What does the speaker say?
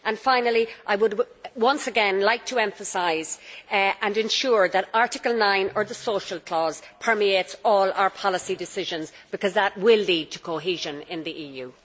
Finally, I would once again like to emphasise and ensure that Article 9, or the social clause', permeates all our policy decisions, because that really will lead to cohesion in the EU.